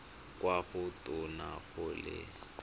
kwa go tona go le